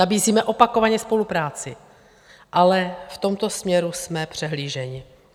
Nabízíme opakovaně spolupráci, ale v tomto směru jsme přehlíženi.